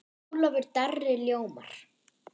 Ólafur Darri ljómar.